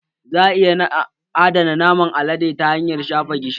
Za a iya adana naman alade ta hanyar shafa gishiri